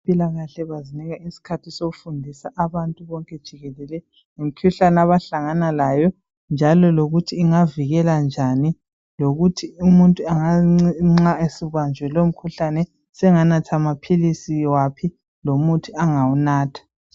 Abezempilakahle bazinika isikhathi sokufundisa abantu bonke jikelele ngemkhuhlane abahlangana layo .Njalo lokuthi ingavikelwa njani .Lokuthi umuntu nxa esebanjwe lowo mkhuhlane senganatha maphilisi waphi lomuthi angawunatha .